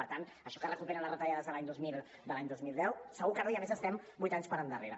per tant això que es recuperen les retallades de l’any dos mil deu segur que no i a més estem vuit anys per endarrere